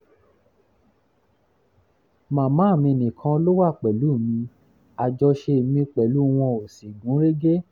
màmá mi nìkan ló wà pẹ̀lú mi àjọṣe mi pẹ̀lú wọn ò sì gún régé